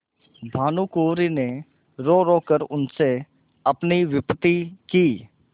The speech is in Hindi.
भानुकुँवरि ने रोरो कर उनसे अपनी विपत्ति की